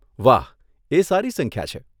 વાહ એ સારી સંખ્યા છે.